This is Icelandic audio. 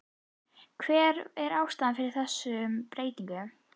Hver er ástæðan fyrir þessari breytingu?